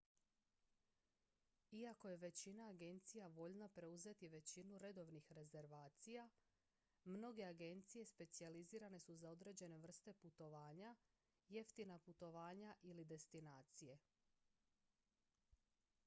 iako je većina agencija voljna preuzeti većinu redovnih rezervacija mnoge agencije specijalizirane su za određene vrste putovanja jeftina putovanja ili destinacije